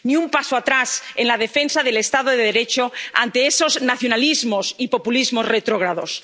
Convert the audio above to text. Ni un paso atrás en la defensa del Estado de Derecho ante esos nacionalismos y populismos retrógrados.